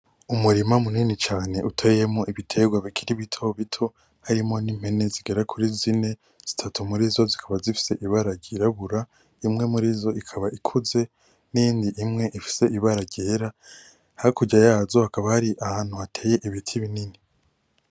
Umurima munini cane utewemwo ibitegwa bikiri bitobito, harimwo impene zigera kuri zine, zitatu murizo zikaba zifise ibara ryirabura, imwe murizo ikaba ikuze niyindi imwe ifise ibara ryera, hakurya yazo hakaba hari ahantu hateye ibiti binini.